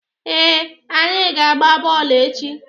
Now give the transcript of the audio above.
Ee, anyị ga-agba bọọlụ echi.